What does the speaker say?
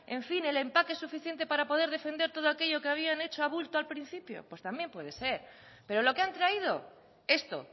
el empaque suficiente para poder defender todo aquello que habían hecho a bulto al principio pues también puede ser pero lo que han traído esto